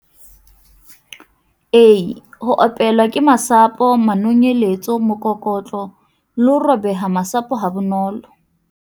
A -Ho opelwa ke masapo, manonyeletso, mokokotlo le ho robeha masapo ha bonolo.